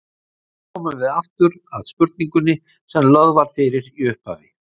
Hér komum við aftur að spurningunni sem lögð var fyrir í upphafi.